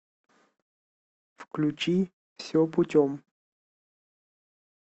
включи все путем